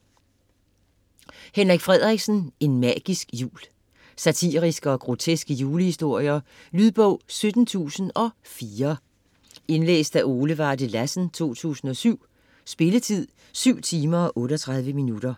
Frederiksen, Henrik: En magisk jul Satiriske og groteske julehistorier. Lydbog 17004 Indlæst af Ole Varde Lassen, 2007. Spilletid: 7 timer, 38 minutter.